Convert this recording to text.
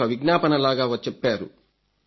ఇదొక విజ్ఞాపనలాగా చెప్పారు